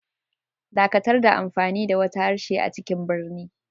Dakatar da amfani da wata harshe a cikin birni.